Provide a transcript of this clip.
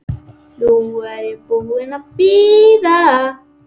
Nú er ég búin að bíða.